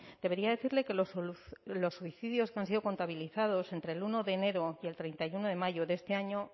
debería decirle que los suicidios que han sido contabilizados entre el uno de enero y el treinta y uno de mayo de este año